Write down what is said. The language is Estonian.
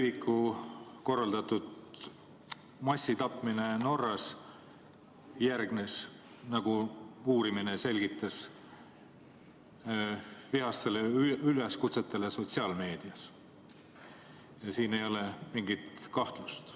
Breiviku korraldatud massitapmine Norras järgnes – nagu uurimine selgitas – vihastele üleskutsetele sotsiaalmeedias, siin ei ole mingit kahtlust.